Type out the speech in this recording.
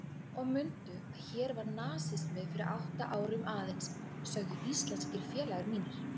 Og mundu að hér var nasismi fyrir átta árum aðeins, sögðu íslenskir félagar mínir.